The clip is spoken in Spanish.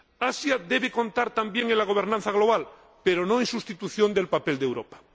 Asia debe contar también en la gobernanza global, pero no sustituir el papel de Europa.